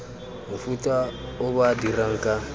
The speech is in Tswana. mofuta o ba dirang ka